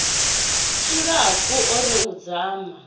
tshilapfu o ri u dzama